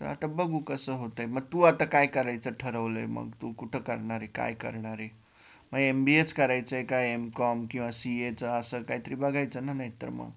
तर आता बघू कसं होतंय मग तू आता काय करायचं ठरवलंय मग? तू कुठं करणारे? काय करणारे? मग MBA चं करायचंय का MCOM किंवा CA चा असं काहीतरी बघायचं ना नाहीतर मग